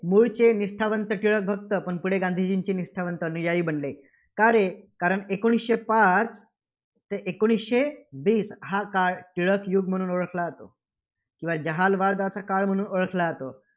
मुळचे निष्ठावंत टिळकभक्त, पण पुढे गांधीजींचे निष्ठावंत अनुयायी बनले. का रे? कारण एकोणीसशे पाच ते एकोणीसशे वीस हा काळ टिळक युग म्हणून ओळखला जातो. किंवा जहालवादाचा काळ म्हणून ओळखला जातो.